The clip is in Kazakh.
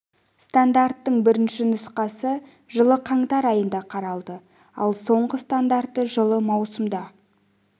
стандарттың бірінші нұсқасы жылы қаңтар айында қаралды ал соңғы стандарты жылы маусымда